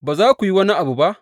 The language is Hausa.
Ba za ku yi wani abu ba?